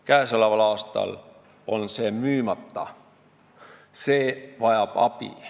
Käesoleval aastal on see müümata, oleks abi vaja.